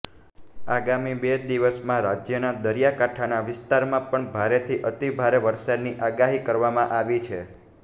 આગામી બે દિવસમાં રાજ્યના દરિયાકાંઠાના વિસ્તારમાં પણ ભારેથી અતિભારે વરસાદની આગાહી કરવામાં આવી છે